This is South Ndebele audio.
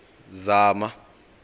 zama